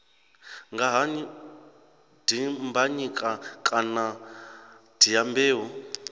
nga ha dimbanyika kana dyambeu